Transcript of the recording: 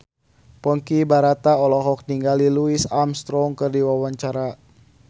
Ponky Brata olohok ningali Louis Armstrong keur diwawancara